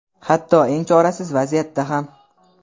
Hatto eng chorasiz vaziyatda ham.